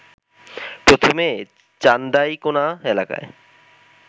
প্রথমে চান্দাইকোনা এলাকায়